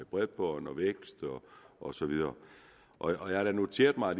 bredbånd og vækst osv og jeg har da noteret mig